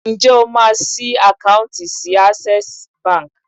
Ǹjẹ́ o máa ṣí àkáùntì sí Access Bank?